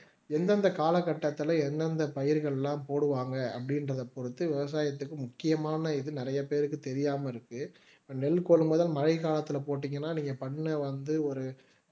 எந்தெந்த காலகட்டத்தில எந்தெந்த பயிர்கள் எல்லாம் போடுவாங்க அப்படின்றத பொறுத்து விவசாயத்துக்கு முக்கியமான இது நிறைய பேருக்கு தெரியாம இருக்கு நெல் கொள்முதல் மழை காலத்துல போட்டீங்கன்னா நீங்க பண்ண வந்து ஒரு